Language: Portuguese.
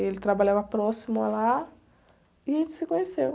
Ele trabalhava próximo a lá e a gente se conheceu.